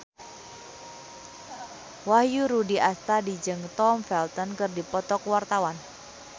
Wahyu Rudi Astadi jeung Tom Felton keur dipoto ku wartawan